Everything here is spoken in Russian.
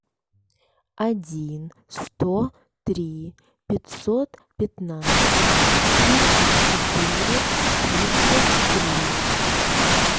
один сто три пятьсот пятнадцать тридцать четыре тридцать три